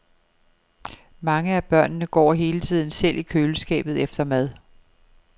Mange af børnene går hele tiden selv i køleskabet efter mad.